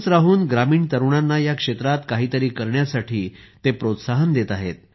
गावातच राहून ग्रामीण तरुणांना या क्षेत्रात काहीतरी करण्यासाठी ते प्रोत्साहन देत आहेत